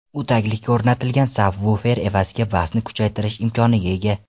U taglikka o‘rnatilgan sabvufer evaziga basni kuchaytirish imkoniga ega.